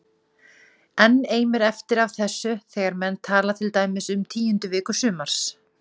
Enn eimir eftir af þessu þegar menn tala til dæmis um tíundu viku sumars